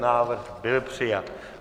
Návrh byl přijat.